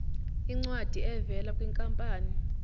incwadi evela kwinkampani